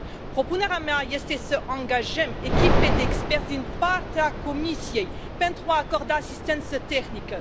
Propunerea mea este să angajăm echipe de experți din partea Comisiei pentru a acorda asistență tehnică.